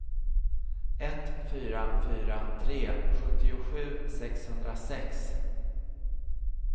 ett fyra fyra tre sjuttiosju sexhundrasex